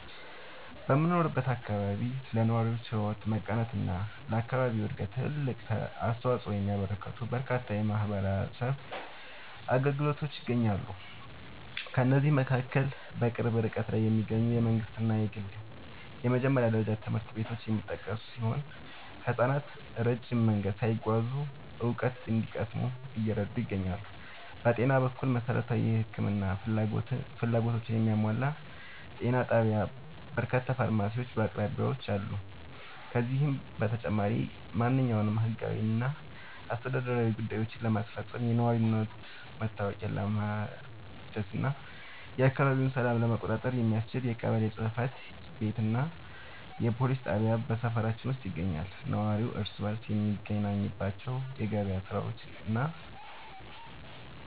በምኖርበት አካባቢ ለነዋሪዎች ሕይወት መቃናትና ለአካባቢው ዕድገት ትልቅ አስተዋፅኦ የሚያበረክቱ በርካታ የማኅበረሰብ አገልግሎቶች ይገኛሉ። ከእነዚህም መካከል በቅርብ ርቀት ላይ የሚገኙ የመንግሥትና የግል የመጀመሪያ ደረጃ ትምህርት ቤቶች የሚጠቀሱ ሲሆን፣ ሕፃናት ረጅም መንገድ ሳይጓዙ እውቀት እንዲቀስሙ እየረዱ ይገኛሉ። በጤና በኩል፣ መሠረታዊ የሕክምና ፍላጎቶችን የሚያሟላ ጤና ጣቢያና በርካታ ፋርማሲዎች በአቅራቢያችን አሉ። ከዚህም በተጨማሪ፣ ማንኛውንም ሕጋዊና አስተዳደራዊ ጉዳዮችን ለማስፈጸም፣ የነዋሪነት መታወቂያ ለማደስና የአካባቢውን ሰላም ለመቆጣጠር የሚያስችል የቀበሌ ጽሕፈት ቤትና የፖሊስ ጣቢያ በሰፈራችን ውስጥ ይገኛሉ። ነዋሪው እርስ በርስ የሚገናኝባቸው የገበያ ሥፍራዎችና